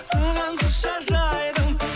саған құшақ жайдым